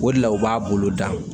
O de la u b'a bolo da